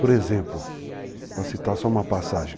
Por exemplo, vou citar só uma passagem.